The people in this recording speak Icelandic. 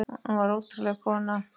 Hún var ótrúleg kona.